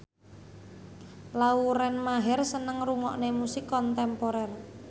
Lauren Maher seneng ngrungokne musik kontemporer